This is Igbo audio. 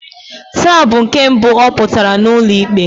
Taa bụ nke mbụ ọ pụtara n'ụlọ ikpe.